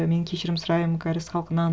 мен кешірім сұраймын кәріс халқынан